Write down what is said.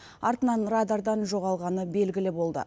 артынан радардан жоғалғаны белгілі болды